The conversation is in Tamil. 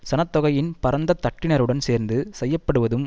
சனத்தொகையின் பரந்த தட்டினருடன் சேர்ந்து செயற்படுவதும்